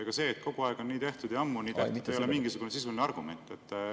Ega see, et kogu aeg on nii tehtud ja ammu on nii tehtud, ei ole mingisugune sisuline argument.